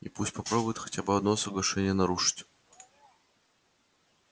и пусть попробует хотя бы одно соглашение нарушить